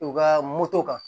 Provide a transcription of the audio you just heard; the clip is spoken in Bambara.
U ka moto kan